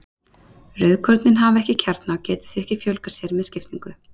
Rauðkornin hafa ekki kjarna og geta því ekki fjölgað sér með skiptingu.